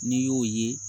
N'i y'o ye